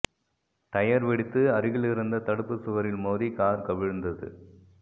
tyre வெடித்து அருகிலிருந்த தடுப்புச் சுவரில் மோதி கார் கவிழ்ந்தது